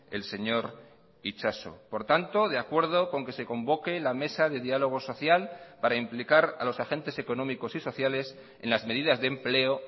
el señor itxaso por tanto de acuerdo con que se convoque la mesa de diálogo social para implicar a los agentes económicos y sociales en las medidas de empleo